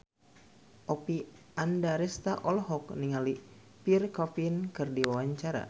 Oppie Andaresta olohok ningali Pierre Coffin keur diwawancara